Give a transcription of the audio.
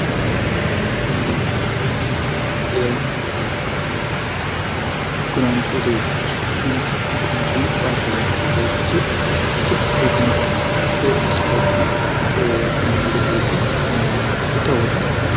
የግራንድ ሆቴል ይህ መቀመጫውን ባህርዳር ያደረገ ሆቴል ሲሆን ይህ ሆቴል በቅንጡ ስፖርትን መዋኛ ገንዳዎቹ እና ይታወቃል።